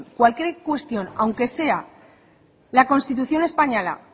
cualquier cuestión aunque sea la constitución española